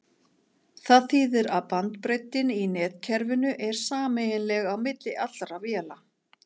Það þýðir að bandbreiddin í netkerfinu er sameiginleg á milli allra véla.